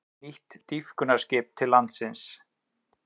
Nýtt dýpkunarskip til landsins